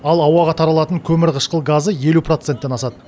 ал ауаға таралатын көмірқышқыл газы елу проценттен асады